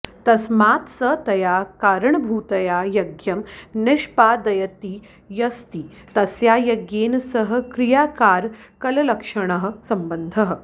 तस्मात् स तया करणभूतया यज्ञं निष्पादयतीत्यस्ति तस्या यज्ञेन सह क्रियाकारकलक्षणः सम्बन्धः